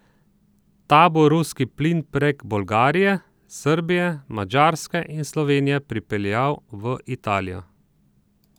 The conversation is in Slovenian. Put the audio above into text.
Ta bo ruski plin prek Bolgarije, Srbije, Madžarske in Slovenije pripeljal v Italijo.